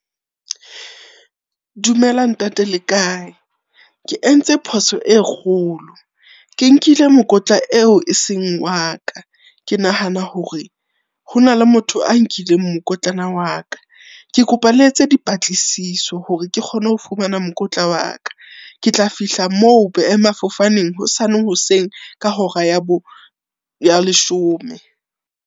Dumela ntate le kae? Ke entse phoso e kgolo. Ke nkile mokotla eo e seng wa ka, ke nahana hore hona le motho a nkileng mokotlana wa ka. Ke kopa le etse dipatlisiso hore ke kgone ho fumana mokotla wa ka. Ke tla fihla moo boemafofaneng hosane hoseng ka hora ya bo, ya leshome.